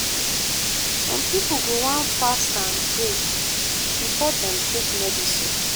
some pipo go wan fast and pray before dem take medicine.